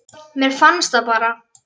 Mér fannst það bara.